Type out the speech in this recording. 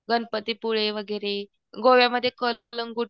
गणपती पुळे वगैरे, गोव्यामध्ये